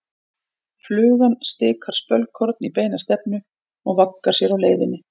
Flugan stikar spölkorn í beina stefnu og vaggar sér á leiðinni.